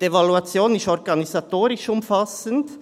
Die Evaluation ist organisatorisch umfassend.